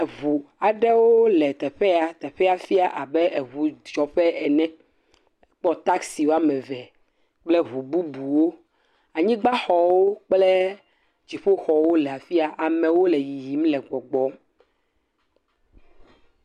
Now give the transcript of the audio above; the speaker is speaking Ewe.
Eŋu aɖewo le yeƒe ya. Teƒea fiã abe eŋudzɔƒe ene. Kpɔ taksi wo ame ve kple ŋu bubuwo. Anyigbaxɔwo kple dziƒoxɔwo le afia. Amewo le yiyim le gbɔgbɔm.